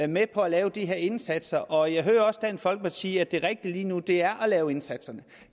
med på at lave de her indsatser og jeg hører også dansk folkeparti sige at det rigtige lige nu er at lave indsatserne